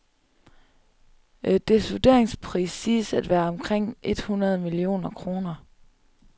Dets vurderingspris siges at være omkring et hundrede millioner kroner.